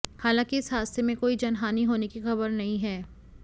हालांकि इस हादसे में कोई जनहानि होने की खबर नहीं है